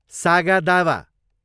सागा दावा